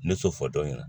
Ne t'o fɔ dɔni na